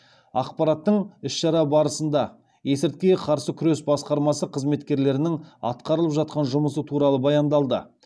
ақпараттың іс шара барысында есірткіге қарсы күрес басқармасы қызметкерлерінің атқарылып жатқан жұмысы туралы баяндалды